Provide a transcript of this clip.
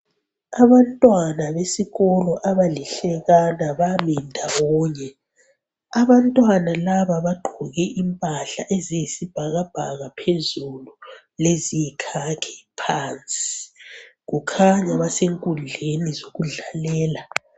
Abantwana besikolo abalihlekana bami ndawonye abantwana laba bagqoke impahla eziyisibhakabhaka phezulu leziyikhakhi phansi kukhanya basenkundleni yokudlalela.